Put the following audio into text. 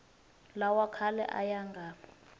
lawa khale a ya nga